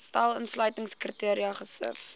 stel uitsluitingskriteria gesif